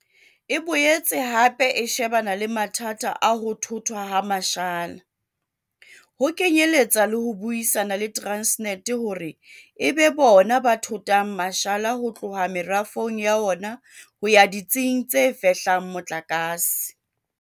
E boetse hape e shebana le mathata a ho thothwa ha mashala, ho kenyeletsa le ho buisana le Transnet hore e be bona ba thothang mashala ho tloha merafong ya ona ho ya ditsing tse fehlang motlakase.